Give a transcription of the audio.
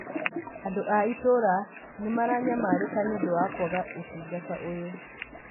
Andũ a itũũra nĩ maranyamarĩka nĩ ũndũ wa kwaga ũtungata ũyũ